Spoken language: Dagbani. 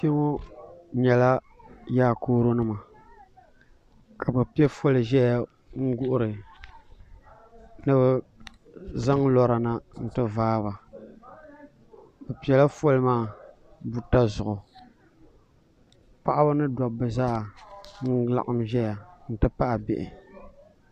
Kpɛ ŋɔ nyɛla yaakooro nima ka bi pɛ foli zɛya n guhiri ni bi zaŋ lɔra na nti baa ba bi pɛla foli maa buta zuɣu paɣaba ni dabba zaa nlaɣim zɛya nti pahi bihi.